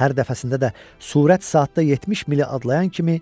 Hər dəfəsində də sürət saatda 70 mili adlayan kimi